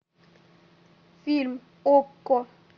фильм окко